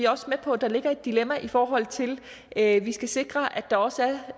også med på at der ligger et dilemma i forhold til at vi skal sikre at der også